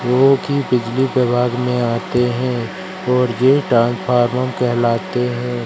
वो की बिजली विभाग में आते हैं और ये ट्रांसफार्मम कहलाते है।